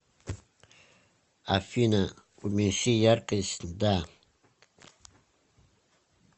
афина уменьши яркость да